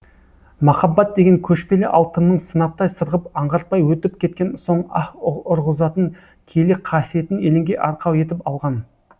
махаббат деген көшпелі алтынның сынаптай сырғып аңғартпай өтіп кеткен соң аһ ұрғызатын киелі қасиетін елеңге арқау етіп алған